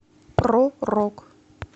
про рок